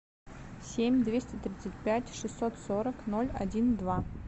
семь двести тридцать пять шестьсот сорок ноль один два